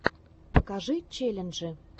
покажи челленджи